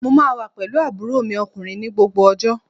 Mo wà pẹ̀lú àbúrò mi ọkùnrin ní gbogbo ọjọ́